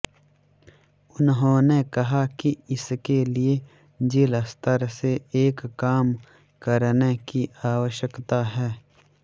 उन्होंने कहा कि इसके लिए जिला स्तर से एक काम करने की आवश्यकता है